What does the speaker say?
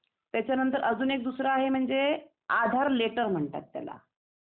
त्याच्या नंतर दुसरा म्हणजे असा आहे ते आधार लेटर म्हणतात त्याला